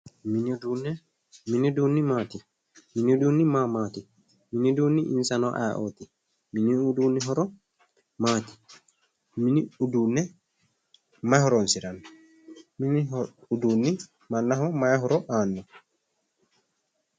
mini uduunne mini uduunni maati? mini uduunni ma maati? mini uduunni insano ayeeooti? mini uduunni horo maati mini uduunne mayi horonsiranno mini uduunni mannaho mayi horo aano?